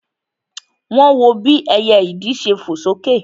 Wọ́n wọ bí ẹyẹ ìdì ṣe fò sókè